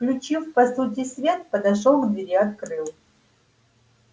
включив по сути свет подошёл к двери открыл